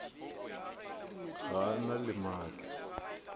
ga a na le maatla